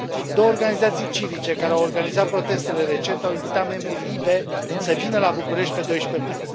Două organizații civice care au organizat protestele recent au invitat membrii LIBE să vină la București pe 12 mai.